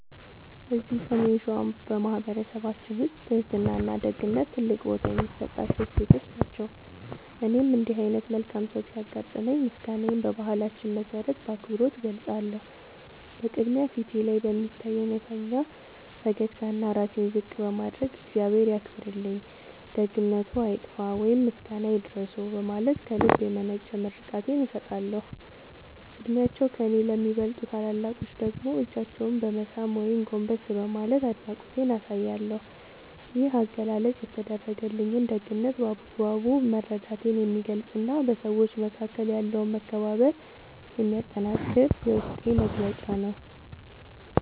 እዚህ ሰሜን ሸዋ በማኅበረሰባችን ውስጥ ትሕትናና ደግነት ትልቅ ቦታ የሚሰጣቸው እሴቶች ናቸው። እኔም እንዲህ ዓይነት መልካም ሰው ሲያጋጥመኝ ምስጋናዬን በባህላችን መሠረት በአክብሮት እገልጻለሁ። በቅድሚያ፣ ፊቴ ላይ በሚታይ እውነተኛ ፈገግታና ራሴን ዝቅ በማድረግ "እግዚአብሔር ያክብርልኝ፣ ደግነትዎ አይጥፋ" ወይም "ምስጋና ይድረስዎ" በማለት ከልብ የመነጨ ምርቃቴን እሰጣለሁ። ዕድሜያቸው ከእኔ ለሚበልጡ ታላላቆች ደግሞ እጃቸውን በመሳም ወይም ጎንበስ በማለት አድናቆቴን አሳያለሁ። ይህ አገላለጽ የተደረገልኝን ደግነት በአግባቡ መረዳቴን የሚገልጽና በሰዎች መካከል ያለውን መከባበር የሚያጠነክር የውስጤ መግለጫ ነው።